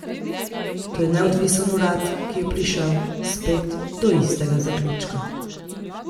To je neodvisen urad, ki je prišel, spet, do istega zaključka.